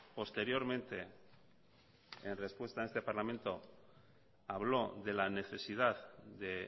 posteriormente en respuesta en este parlamento habló de la necesidad de